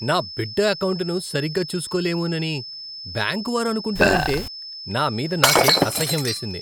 నా బిడ్డ ఎకౌంటును సరిగ్గా చూసుకోలేమోనని బ్యాంకు వారు అనుకుంటారంటే నా మీద నాకే అసహ్యం వేసింది.